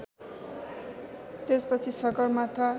त्यसपछि सगरमाथा